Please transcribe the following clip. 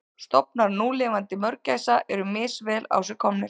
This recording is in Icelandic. Stofnar núlifandi mörgæsa eru misvel á sig komnir.